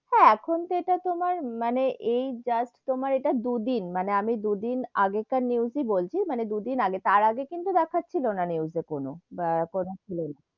হেঁ, এখন তো ইটা তোমার মানে এই just তোমার ইটা দু দিন মানে আমি দু দিন আগে কার news ই বলছি, মানে দু দিন আগে, তার আগে কিন্তু দেখছিলো না news এ কোনো, বা কোনো ছিল না,